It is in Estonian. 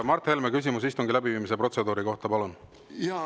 Mart Helme, küsimus istungi läbiviimise protseduuri kohta, palun!